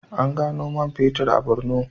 An gano man fetur a Bornu.